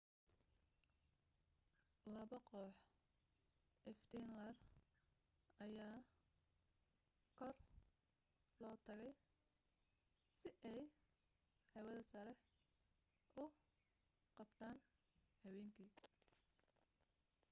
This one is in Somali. labo koox iftiin leer ayaa kor loo taagay si aay hawada sare u qabtaan habeenki